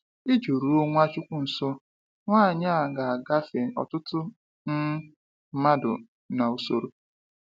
Iji ruo Nwachukwu nso, nwanyị a ga agafe ọtụtụ um mmadụ n’usoro.